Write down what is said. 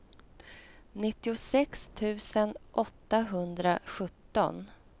nittiosex tusen åttahundrasjutton